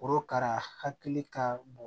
Orokara hakili ka bon